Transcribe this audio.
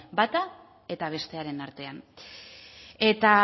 bata eta bestearen artean eta